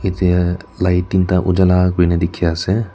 light tinta ujhala kuri na dikhi ase.